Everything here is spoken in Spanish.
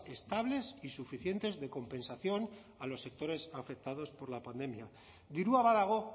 estables y suficientes de compensación a los sectores afectados por la pandemia dirua badago